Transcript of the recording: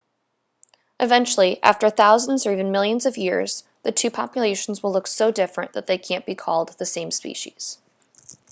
eventually after thousands or even millions of years the two populations will look so different that they can't be called the same species